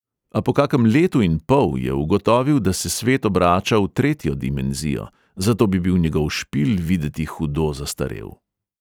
A po kakem letu in pol je ugotovil, da se svet obrača v tretjo dimenzijo, zato bi bil njegov špil videti hudo zastarel.